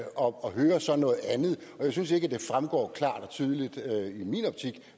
og hører så noget andet og jeg synes ikke at det fremgår klart og tydeligt